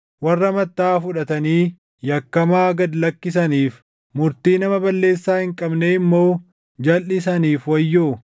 warra mattaʼaa fudhatanii yakkamaa gad lakkisaniif, murtii nama balleessaa hin qabnee immoo jalʼisaniif wayyoo.